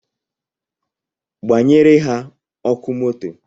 Gbanyere ha ọkụ moto